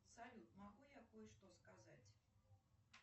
салют могу я кое что сказать